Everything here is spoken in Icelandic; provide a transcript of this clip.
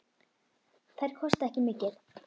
Þær kosta ekki mikið.